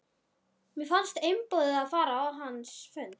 Mér fannst einboðið að fara á hans fund.